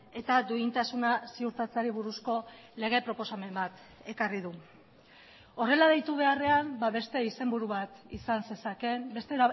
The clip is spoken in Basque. eta duintasuna ziurtatzeari buruzko lege proposamen bat ekarri du horrela deitu beharrean beste izenburu bat izan zezakeen beste